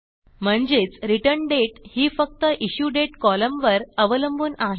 म्हणजेच रिटर्न्डेट ही फक्त इश्युडेट कॉलमवर अवलंबून आहे